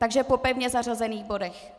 Takže po pevně zařazených bodech.